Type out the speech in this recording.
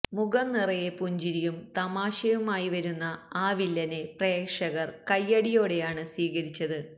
മുഖം നിറയെ പുഞ്ചിരിയും തമാശയുമായി വരുന്ന ആ വില്ലനെ പ്രേക്ഷകർ കയ്യടിയോടെയാണ് സ്വീകരിച്ചത്